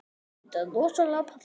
Það var þá bara Lúlli.